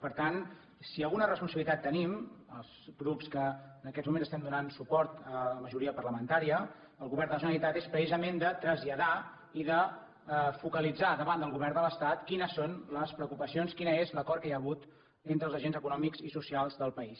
per tant si alguna responsabilitat tenim els grups que en aquests moments estem donant suport amb majoria parlamentària al govern de la generalitat és precisament de traslladar i de focalitzar davant del govern de l’estat quines són les preocupacions quin és l’acord que hi ha hagut entre els agents econòmics i socials del país